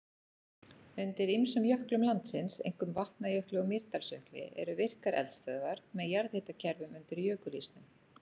Undir ýmsum jöklum landsins, einkum Vatnajökli og Mýrdalsjökli, eru virkar eldstöðvar með jarðhitakerfum undir jökulísnum.